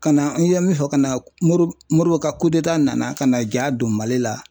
Ka na n ye min fɔ ka na Moribo ka nana ka na ja don Mali la ,